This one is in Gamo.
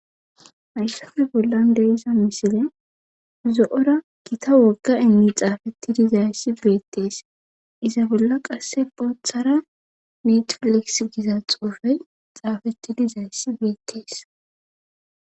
Hayssafe bolla diza misilen zo7ora gita wogga enni xaafetti dizayssi beettees iza bolla qasseka boothara netfekis giza xuufeyy xaafetti dizayssi beettees.